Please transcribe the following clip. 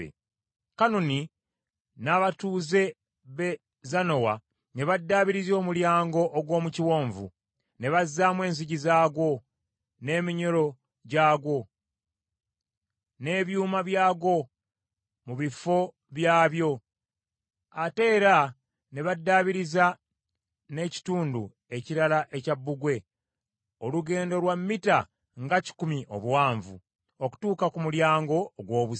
Kanuni n’abatuuze b’e Zanowa ne baddaabiriza Omulyango ogw’omu Kiwonvu, ne bazzaamu enzigi zaagwo, n’eminyolo gyagwo n’ebyuma byagwo mu bifo byabyo; ate era ne baddaabiriza n’ekitundu ekirala ekya bbugwe, olugendo lwa mita nga kikumi obuwanvu, okutuuka ku Mulyango ogw’Obusa.